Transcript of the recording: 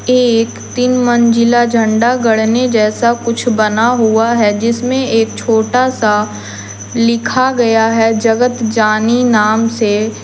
एक तीन मंजिला झंडा गड़ने जैसा कुछ बना हुआ है जिसमें एक छोटा सा लिखा गया है जगत जानी नाम से--